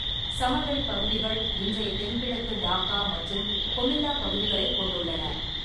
சமவெளிப் பகுதிகள் இன்றைய தென்கிழக்கு டாக்கா மற்றும் கொமில்லா பகுதிகளைக் கொண்டுள்ளன.